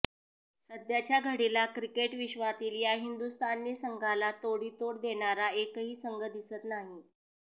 सध्याच्या घडीला क्रिकेट विश्वातील या हिंदुस्थानी संघाला तोडीतोड देणारा एकही संघ दिसत नाही